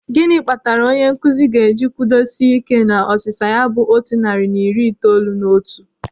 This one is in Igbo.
Gịnị kpatara onye nkụzi ga-eji kwudo sie ị́ké na ọsịsa ya bụ otu narị na iri itoolu na otu?